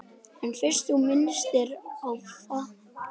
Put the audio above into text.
En fyrst þú minntist á fartölvu.